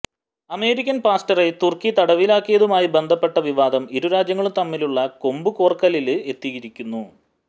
American പാസ്റ്ററെ തുര്ക്കി തടവിലാക്കിയതുമായി ബന്ധപ്പെട്ട വിവാദം ഇരുരാജ്യങ്ങളും തമ്മിലുള്ള കൊമ്പുകോര്ക്കലില് എത്തിയിരിക്കുന്നു